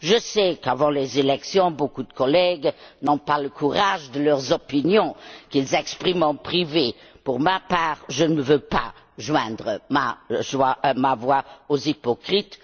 Je sais qu'avant les élections, beaucoup de collègues n'ont pas le courage de leurs opinions, qu'ils expriment en privé. Pour ma part, je ne veux pas joindre ma voix à celle des hypocrites.